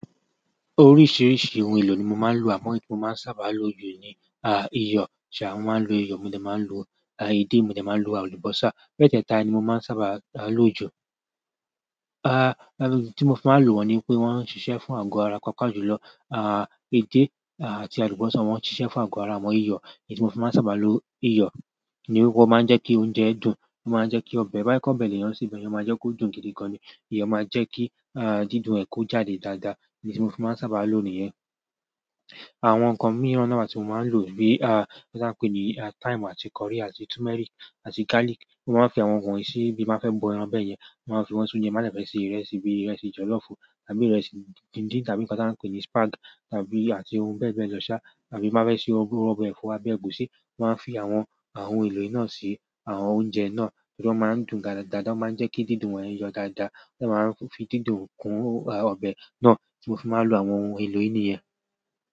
Oríṣìíríṣìí ohun èlò ni mo máa ń lò, àmọ́ èyí tí mo máa ń sábà lo jù ni, ah, iyọ̀. Ṣà, mo máa ń lo iyọ̀, mo dẹ máa ń lo, ah, edé, mo dẹ máa ń lo àlùbọ́sà. Mẹ́tẹ́ẹ̀ta ni mo máa ń sábà lò jù. Ah, idi tí mo fi máa ń lò wọ́n ni pé wọ́n ń ṣiṣẹ́ fún àgọ́ ara paapa jùlọ. Ah, edé, ah, àti àlùbọ́sà wọ́n ń ṣiṣẹ́ fún àgọ́ ara, àmọ́ iyọ̀, èyí tí mo máa ń sábà lo iyọ̀, ni ó máa ń jẹ́ kí oúnjẹ dùn, ó máa ń jẹ́ kí ọbẹ̀ tobá jẹ pe ọbẹ leyan se, iyọ̀ máa jẹ́ kó dùn gidi gan ni. Iyọ̀ máa ń jẹ́ kí, ah, dídùn ẹ ko jáde dáadáa, idi tí mo máa ń sábà lò nìyẹn. Àwọn nǹkan mìí náà wà tí mo máa ń lò bí, ah, bí a ti ń pè ní thyme àti curry àti turmeric àti garlic. Mo máa ń fi àwọn nǹkan yìí síbí má fẹ́ bọ ẹran bẹ́ẹ̀ yẹn, màá fi wọ́n sínú oúnjẹ má fẹ́ ṣe ìrẹsì bí ìrẹsì jọ̀lọ́fù tàbí ìrẹsì díndín tàbí nǹkan tí a ń pè ní spag tàbí àti ohun bẹ́ẹ̀ bẹ́ẹ̀ lọ sá tàbí má fẹ́ sè ọbẹ ẹ̀fọ́ àbí ẹ̀gúsí, màá fi àwọn ohun èlò yìí náà sí àwọn oúnjẹ náà. Nítorí wọ́n máa ń dùn dáadáa, wọ́n máa ń jẹ́ kí dídùn wọ́n yọ dáadáa, wọ́n máa ń fi dídùn kún ọbẹ̀ náà tí mo fi máa ń lo àwọn ohun èlò yìí ìníyẹn.